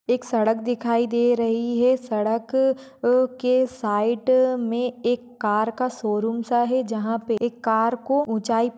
एक सड़क दिखाई दे रही है सड़क अ के साइट में एक कार का शोरूमसा है जहा पे एक कार को उचाई --